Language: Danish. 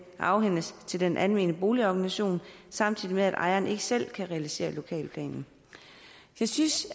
afhændes til den almene boligorganisation samtidig med at ejeren ikke selv kan realisere lokalplanen jeg synes